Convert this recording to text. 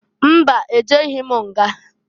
Mba! E jeghi m nga.